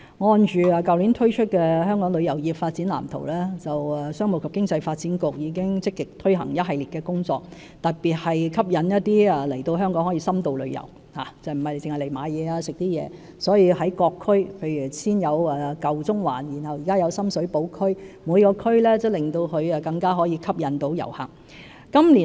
按照去年推出的《香港旅遊業發展藍圖》，商務及經濟發展局已積極推行一系列工作，特別是吸引旅客來香港作深度旅遊，而並非只是來購物或飲食，所以各區——例如先有舊中環，現有深水埗區——也更能吸引遊客。